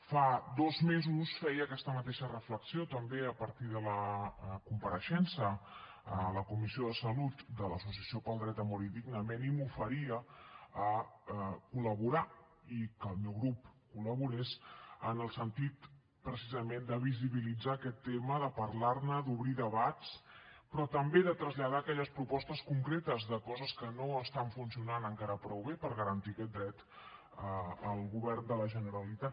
fa dos mesos feia aquesta mateixa reflexió també a partir de la compareixença a la comissió de salut de l’associació pel dret a morir dignament i m’oferia a col·laborar i que el meu grup col·laborés en el sentit precisament de visibilitzar aquest tema de parlar ne d’obrir debats però també de traslladar aquelles propostes concretes de coses que no estan funcionant encara prou bé per garantir aquest dret al govern de la generalitat